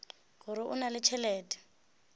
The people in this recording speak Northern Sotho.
gore o na le tšhelete